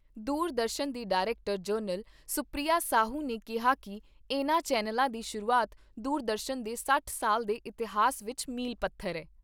ਦੂਰਦਰਸ਼ਨ ਦੀ director general Supriya Sahu ਨੇ ਕਿਹਾ ਕਿ ਇਨ੍ਹਾਂ ਚੈਨਲਾਂ ਦੀ ਸ਼ੁਰੂਆਤ ਦੂਰਦਰਸ਼ਨ ਦੇ ਸੱਠ ਸਾਲ ਦੇ ਇਤਿਹਾਸ ਵਿਚ ਮੀਲ ਪੱਥਰ ਏ।